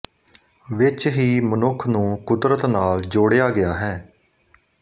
ਵਿੱਚ ਹੀ ਮਨੁੱਖ ਨੂੰ ਕੁਦਰਤ ਨਾਲ ਜੋੜਿਆ ਗਿਆ ਹੈ